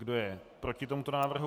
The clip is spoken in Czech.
Kdo je proti tomuto návrhu?